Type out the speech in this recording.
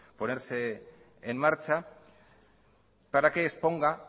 ponerse en marcha para que exponga